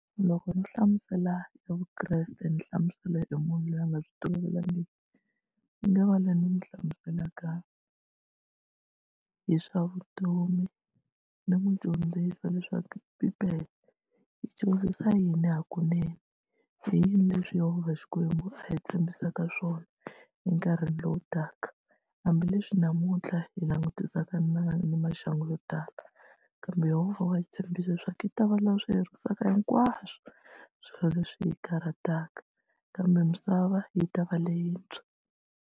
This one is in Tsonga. Loko no hlamusela e Vukreste ni hlamusela hi munhu loyi a nga byi tolovelekangiki ni nga va loyi ni n'wi hlamuselaka hi swa vutomi ni n'wi dyondzisa leswaku Bibele yi dyondzisa yini hakunene i yini leswi Yehova xikwembu a hi tshembisaka swona enkarhini lowu taka hambileswi namuntlha hi langutisaka na ni maxangu yo tala kambe Yehova wa hi tshembisa leswaku i ta va loyi a swi herisaka hinkwaswo swilo leswi hi karataka kambe misava yi ta va leyintshwa.